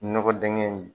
Nɔgɔ dingɛ in